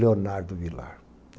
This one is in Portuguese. Leonardo Vilar.